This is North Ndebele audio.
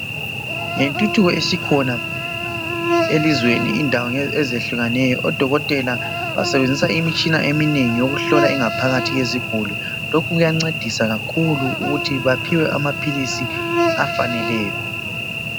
Ngentuthuko esikhona elizweni indawo ezahlukeneyo odokotela basebenzisa imitshina eminengi yokuhlola ingaphakathi yeziguli. Lokhu kuyancedisa kakhulu ukuthi baphiwe amaphilisi afaneleyo.